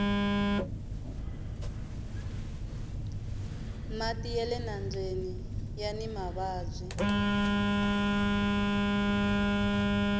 mati yale nambyeni yani mavabyi